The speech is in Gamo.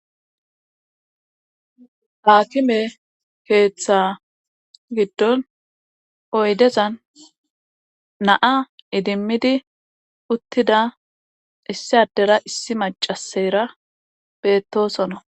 haakime keeththa giddon oydezan naa idimmidi uttida issi addera issi macaseyra beettoosona